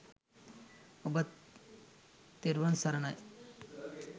ඔබත් තෙරුවන් සරණයි !